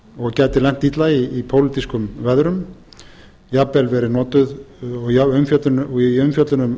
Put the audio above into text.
og gæti lent illa í pólitískum veðrum og í umfjöllun um